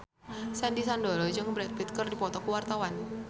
Sandy Sandoro jeung Brad Pitt keur dipoto ku wartawan